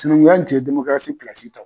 Sinankunya in tun ye pilasi ta.